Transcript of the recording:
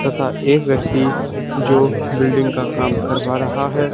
तथा एक व्यक्ति जो बिल्डिंग का काम करवा रहा है।